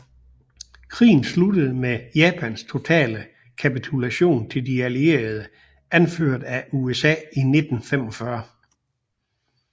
Krigen sluttede med Japans totale kapitulation til De Allierede anført af USA i 1945